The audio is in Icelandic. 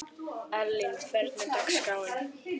Erling, hvernig er dagskráin?